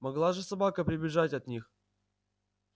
могла же собака прибежать от них